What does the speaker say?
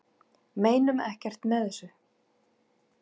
Meinum ekkert með þessu